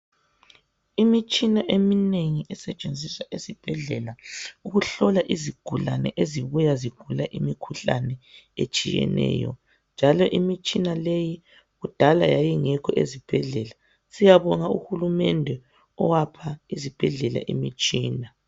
Imitshina eminengi esetshenziswa ezibhedlela ukuhlola izigulane ezibuya zigula imikhuhlane etshiyeneyo njalo imitshina leyi kudala yayingekho ezibhedlela siyabonga uhulumende owapha izibhedlela imitshina.